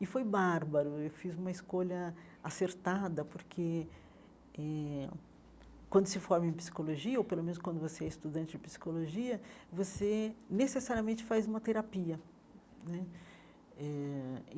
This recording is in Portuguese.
E foi bárbaro, eu fiz uma escolha acertada, porque eh quando se forma em psicologia, ou pelo menos quando você é estudante de psicologia, você necessariamente faz uma terapia né eh.